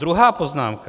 Druhá poznámka.